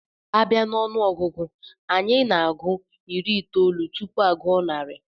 A bia n'onuogugu, Anyị na-agụ iri itoolu tupu aguo narị